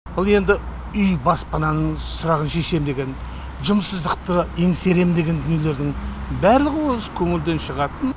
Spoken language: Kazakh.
бұл енді үй баспананың сұрағын шешем деген жұмыссыздықты еңсерем деген дүниелердің барлығы осы көңілден шығатын